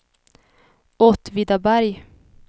Åtvidaberg